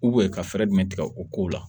ka fɛɛrɛ jumɛn tigɛ o kow la